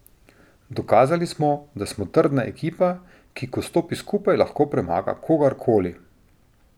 Dokazali smo, da smo trdna ekipa, ki ko stopi skupaj, lahko premaga kogar koli.